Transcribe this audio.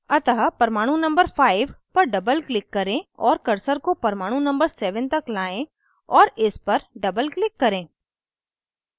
अतः परमाणु number 5 पर doubleclick करें और cursor को परमाणु number 7 तक लाएं और इस पर doubleclick करें